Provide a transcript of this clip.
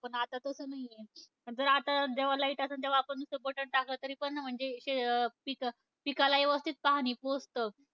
पण आता तसं नाहीय. जर आता जवा light आसंन तवा आपण नुसतं button टाकलं तरी पण म्हणजे शे पिक, पिकाला यवस्थित पाणी पोहोचतं.